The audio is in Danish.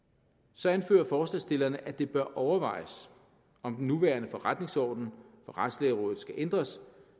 så anfører forslagsstillerne at det bør overvejes om den nuværende forretningsorden for retslægerådet skal ændres